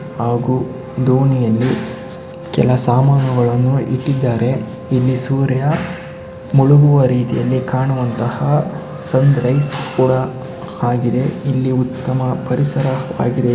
ಹಾಗು ದೋಣಿಯಲ್ಲಿ ಕೆಲ ಸಾಮಾನುಗಳನ್ನು ಇಟ್ಟಿದ್ಧಾರೆ. ಇಲ್ಲಿ ಸೂರ್ಯ ಮುಳುಗುವ ರೀತಿಯಲ್ಲಿ ಕಾಣುವಂತಹ ಸನ್ರೈಸ್ ಕೂಡ ಆಗಿದೆ. ಇಲ್ಲಿ ಉತ್ತಮ ಪರಿಸರವಾಗಿದೆ.